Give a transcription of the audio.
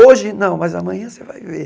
Hoje não, mas amanhã você vai ver.